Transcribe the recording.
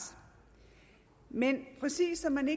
men præcis som man